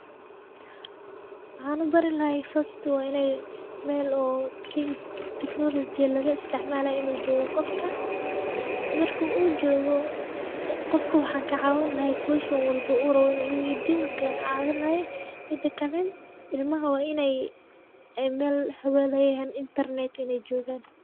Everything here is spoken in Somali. Waxan ubari lahay fasti Mel oo teknolojiya laga isticmaalay inu joho qofka marka uu jogo qofka waxan kacaawin lahay question walbo uu rabo inu iweydiyo wan ka caawin lahay midakake ulmaha waa inay Mel hawa leyahan intarnet inay jogan